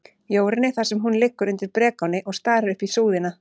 Jórunni, þar sem hún liggur undir brekáni og starir upp í súðina.